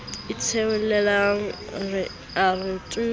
itholela a re tu phokojwe